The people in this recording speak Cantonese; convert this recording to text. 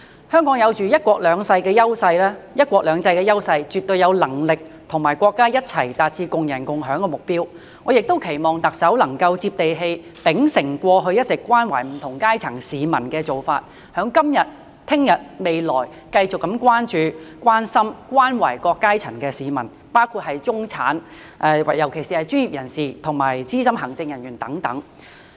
香港有"一國兩制"的優勢，絕對有能力與國家一起達致共贏共享的目標，我也期望特首能夠"接地氣"，秉承過去一直關懷不同階層市民的做法，在今日、明日、未來繼續關注、關心、關懷各階層市民，包括中產，尤其是專業人士和資深行政人員等。